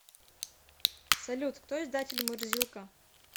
салют кто издатель мурзилка